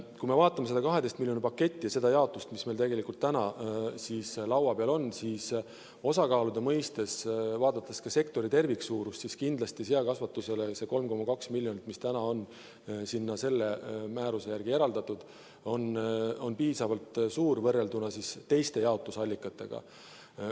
Kui me vaatame seda 12 miljoni paketti ja seda jaotust, mis meil täna laua peal on, siis osakaalude mõistes, vaadates ka sektori terviksuurust, kindlasti seakasvatusele see 3,2 miljonit, mis täna on selle määruse järgi eraldatud, on piisavalt suur võrreldes teiste jaotusallikatega.